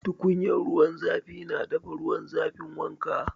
Tukunyar ruwan zafi na dafa ruwan zafin wanka.